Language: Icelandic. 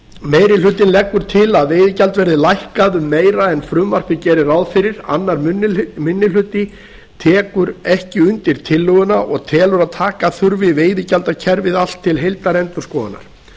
meiri hlutinn leggur til að veiðigjald verði lækkað um meira en frumvarpið gerir ráð fyrir aðra minni hluti tekur ekki undir tillöguna og telur að taka þurfi veiðigjaldakerfið allt til heildarendurskoðunar